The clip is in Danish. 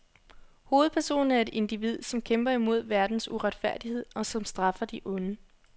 Hovedpersonen er et individ, som kæmper imod verdens uretfærdighed og som straffer de onde.